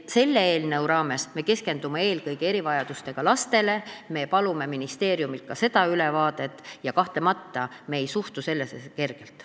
Selle eelnõu raames me keskendume eelkõige erivajadustega lastele, me palume ministeeriumilt ka seda ülevaadet ja kahtlemata ei suhtu me sellesse kergelt.